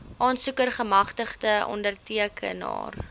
aansoeker gemagtigde ondertekenaar